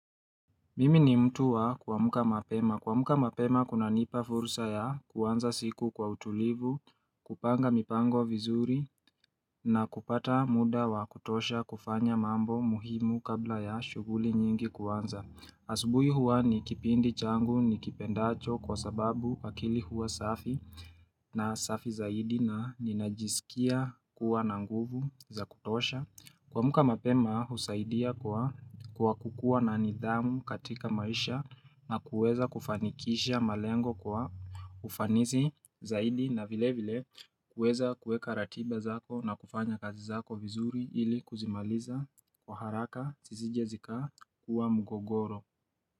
Mimi ni mtu wa kuamka mapema. Kuamka mapema kuna nipa fursa ya kuanza siku kwa utulivu, kupanga mipango vizuri, na kupata muda wa kutosha kufanya mambo muhimu kabla ya shuguli nyingi kuanza. Asubuhi huwa ni kipindi changu nikipendacho kwa sababu akili huwa safi, na safi zaidi, na ninajisikia kuwa na nguvu za kutosha. Kuamka mapema husaidia kwa kwa kukuwa na nidhamu katika maisha, na kuweza kufanikisha malengo kwa ufanisi zaidi na vile vile kuweza kuweka ratiba zako na kufanya kazi zako vizuri ili kuzimaliza kwa haraka zisije zikakuwa mgogoro.